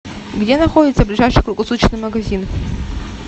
где находится ближайший круглосуточный магазин